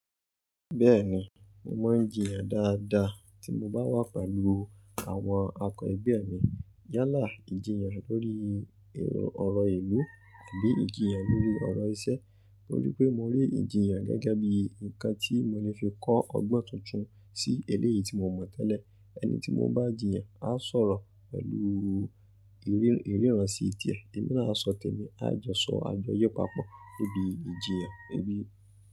Bẹ́ẹ̀ni, mo mọ̀ jiyàn dáadáa tí mo bá wà pẹ̀lú àwọn akọ̀ ẹgbẹ́ mi. Yálà ìjiyàn lórí ọ̀rọ̀ ìlú àbí ìjiyàn lórí ọ̀rọ̀ iṣẹ́ torí pé mo rí ìjiyàn gẹ́gẹ́ bí nǹkan tí mo lè fi kọ́ ọgbọ́n tuntun sí eléyìí tí mo mọ̀ tẹ́lẹ̀. Ẹni tí mo n bá jìyàn á sọ̀rọ̀ pẹ̀lú ìríràn sí i tiẹ. Ẹ̀mí náà á sọ tẹ̀mi, á jọ́sọ̀ àjọye papọ̀ níbi ìjiyàn níbi.